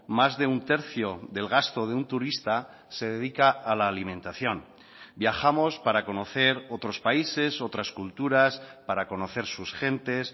más de un tercio del gasto de un turista se dedica a la alimentación viajamos para conocer otros países otras culturas para conocer sus gentes